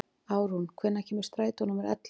Árún, hvenær kemur strætó númer ellefu?